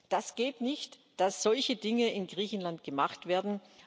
Das geht nicht, dass solche Dinge in Griechenland gemacht werden.